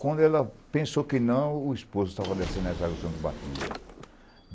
Quando ela pensou que não, o esposo estava descendo as águas do Santo Batismo.